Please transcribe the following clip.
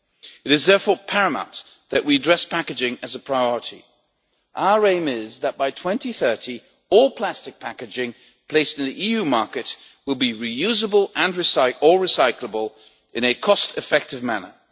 It is therefore paramount that we address packaging as a priority. Our aim is that, by 2030, all plastic packaging placed on the EU market will be reusable or recyclable in a cost effective manner.